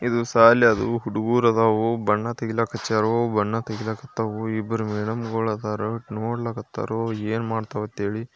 ಇದು ಸಾಲಿ ಆದವು ಹುಡುಗೂರು ಅದಾರು ಬಣ್ಣ ಹಚ್ಲಿಕ್ ಹತ್ತಾರು.